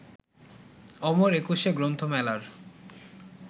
অমর একুশে গ্রন্থমেলার